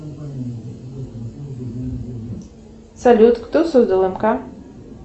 салют кто создал мк